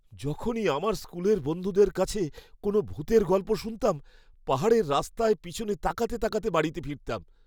যখনই আমার স্কুলের বন্ধুদের কাছে কোনও ভূতের গল্প শুনতাম, পাহাড়ের রাস্তায় পিছনে তাকাতে তাকাতে বাড়িতে ফিরতাম।